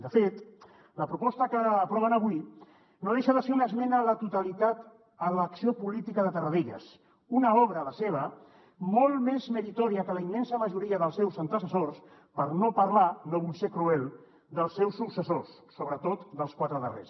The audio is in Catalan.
de fet la proposta que aproven avui no deixa de ser una esmena a la totalitat a l’acció política de tarradellas una obra la seva molt més meritòria que la de la immensa majoria dels seus antecessors per no parlar no vull ser cruel dels seus successors sobretot dels quatre darrers